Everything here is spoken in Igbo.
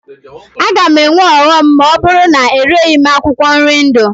A ga-enwe ọghọm ma ọ bụrụ na ereghi akwụkwọ nri ndụ.